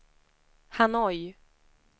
Hanoi